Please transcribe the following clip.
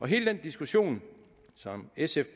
hele den diskussion som sf